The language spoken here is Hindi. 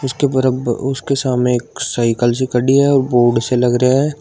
उसके बराबर सामने साइकिल सी खड़ी है बोर्ड से लग रहे हैं।